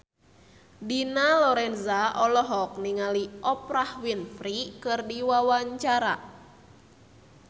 Dina Lorenza olohok ningali Oprah Winfrey keur diwawancara